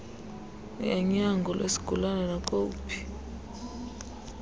yanyango lwesigulana nakowuphi